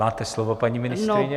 Máte slovo, paní ministryně.